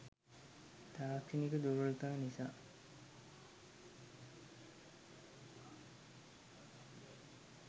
තාක්ෂණික දුර්වලතා නිසා